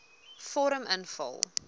vorm invul